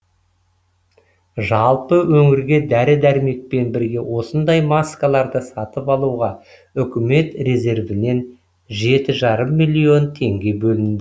жалпы өңірге дәрі дәрмекпен бірге осындай маскаларды сатып алуға үкімет резервінен жеті жарым миллион теңге бөлінді